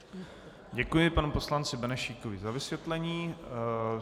Děkuji panu poslanci Benešíkovi za vysvětlení.